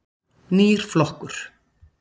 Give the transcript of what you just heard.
Nýr flokkur.